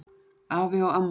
Afi og amma.